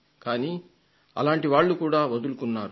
కానీ అలాంటి వాళ్లు కూడా వదులుకున్నారు